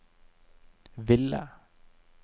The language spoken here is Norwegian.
ville